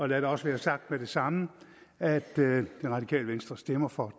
lad det også være sagt med det samme at det radikale venstre stemmer for